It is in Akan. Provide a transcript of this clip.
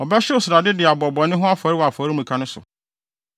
Ɔbɛhyew srade de abɔ bɔne ho afɔre wɔ afɔremuka no so.